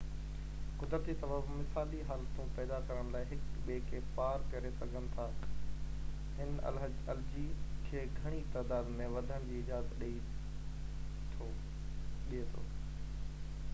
قدرتي سبب مثالي حالتون پيدا ڪرڻ لاءِ هڪ ٻئي کي پار ڪري سگهن ٿا هن الجي کي گهڻي تعداد ۾ وڌڻ جي اجازت ڏي ٿو